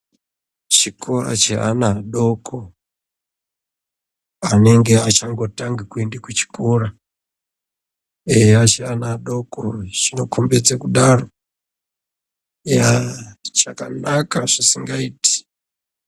Chikora cheana adoko anenge achangotange kuende kuchikora, eya achi ana adoko zvinokombidza kudaro, eya chakanaka zvisingaiti.